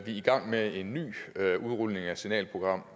i gang med en ny udrulning af et signalprogram